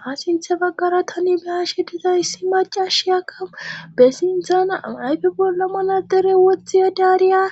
Ha sinthe baggara tani bahashe diza issi macashi aka bessinthana ayfe bola manadere wothi yedariya